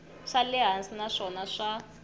xa le hansi naswona swa